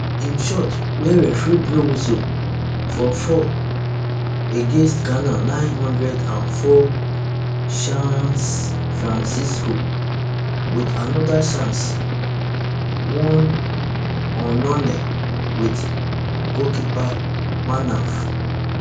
im shot wia referee blow whistle for foul against ghana nine hundred and four chaaancefrancisco wit anoda chance oneonone wit goalkeeper manaf